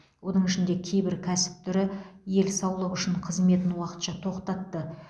оның ішінде кейбір кәсіп түрі ел саулығы үшін қызметін уақытша тоқтатты